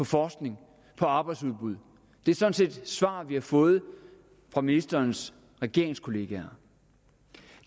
forskning og arbejdsudbud det er sådan set svar vi har fået fra ministerens regeringskolleger